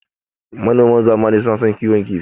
Manoman zamani suna son kiwon kifi.